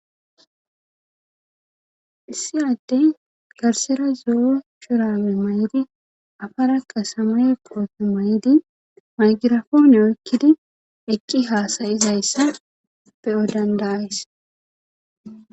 Issi adde garsera zo7o shurame may7ydi afara qasama qooppe may7di maygirafoone oykkidi eqqi haasayizayssa peyo dandayays.